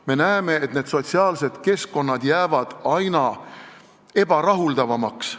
Me näeme, et sotsiaalsed keskkonnad jäävad aina ebarahuldavamaks.